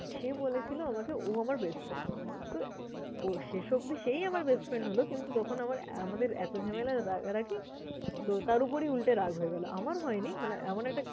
সে বলেছিলো আমাকে ও আমার best friend । তো ও শেষ অব্দি সেই আমার best friend হলো কিন্তু তখন আমার আমাদের এতো ঝামেলার রাগারাগি, তো তার উপরি মেয়েটা রাগ হয়ে গেলো। আমার হয়নি মানে এমন একটা